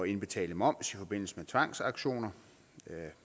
indbetale moms i forbindelse med tvangsauktioner